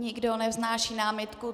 Nikdo nevznáší námitku.